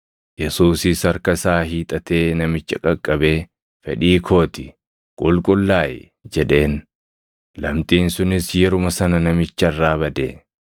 Yesuusis harka isaa hiixatee namicha qaqqabee, “Fedhii koo ti; qulqullaaʼi!” jedheen; lamxiin sunis yeruma sana namicha irraa bade.